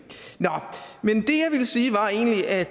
men det jeg ville sige var egentlig at